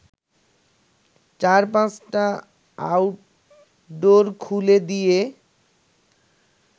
চার-পাঁচটা outdoor খুলে দিয়ে